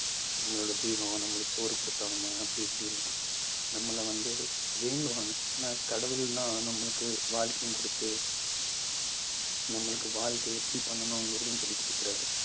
நம்மளோட தெய்வம் நம்மளுக்கு சோறு கொடுத்தவங்க அப்படி இப்படின்னு. நம்மளை வந்து வேண்டுவாங்க. ஏன்னா கடவுள்ன்னா நம்மளுக்கு வாழ்க்கையும் கொடுத்து நம்மளுக்கு வாழ்க்கை எப்படி பண்ணனுங்கிறதையும் சொல்லிக்கொடுக்கிறாரு